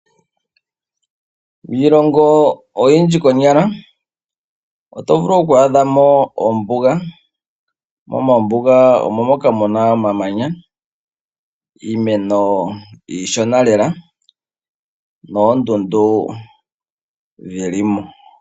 Miilongo oyindji konyala oto vulu oku hadhamo oombuga mo mombuga omo moka muna omamanya, iimeno iishona lela noondundu dhilimo.